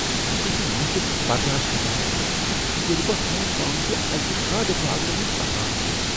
بہٕ چُھس نہٕ مُشُک برداشت ہیکان کٔرتھ ییٚلہ بہٕ ہانگ کانگ کہِ اکِہ گاڈٕ بازرٕ منٛز پکان چھس ۔